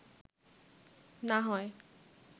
না হয়